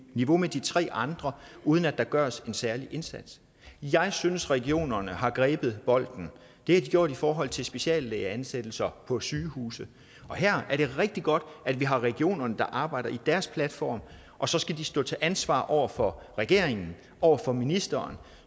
niveau med de tre andre uden at der gøres en særlig indsats jeg synes regionerne har grebet bolden det har de gjort i forhold til speciallægeansættelser på sygehuse her er det rigtig godt at vi har regionerne der arbejder i deres platform og så skal de stå til ansvar over for regeringen over for ministeren